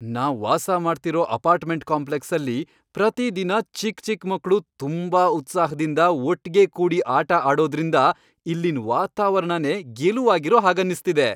ನಾವ್ ವಾಸಮಾಡ್ತಿರೋ ಅಪಾರ್ಟ್ಮೆಂಟ್ ಕಾಂಪ್ಲೆಕ್ಸಲ್ಲಿ ಪ್ರತಿದಿನ ಚಿಕ್ ಚಿಕ್ ಮಕ್ಳು ತುಂಬಾ ಉತ್ಸಾಹ್ದಿಂದ ಒಟ್ಗೆ ಕೂಡಿ ಆಟ ಆಡೋದ್ರಿಂದ ಇಲ್ಲಿನ್ ವಾತಾವರಣನೇ ಗೆಲುವಾಗಿರೋ ಹಾಗನ್ನಿಸ್ತಿದೆ.